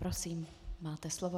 Prosím, máte slovo.